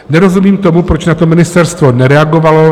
Nerozumím tomu, proč na to ministerstvo nereagovalo.